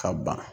Ka ban